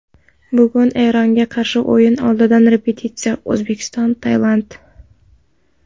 Bugun Eronga qarshi o‘yin oldidan repetitsiya: O‘zbekiston Tailand.